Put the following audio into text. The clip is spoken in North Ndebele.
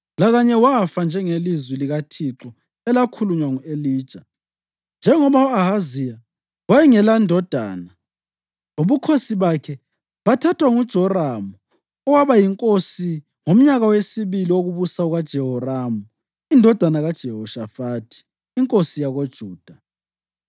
Lakanye wafa, njengelizwi likaThixo elakhulunywa ngu-Elija. Njengoba u-Ahaziya wayengelandodana, ubukhosi bakhe bathathwa nguJoramu owaba yinkosi ngomnyaka wesibili wokubusa kukaJehoramu indodana kaJehoshafathi inkosi yakoJuda.